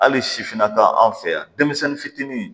Hali sifinna ta anw fɛ yan denmisɛnnin fitinin